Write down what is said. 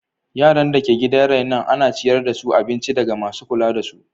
Yaran da ke gidan renon ana ciyar da su abinci ɗaga masu kula da su.